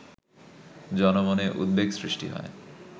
জনমনে উদ্বেগ সৃষ্টি হয়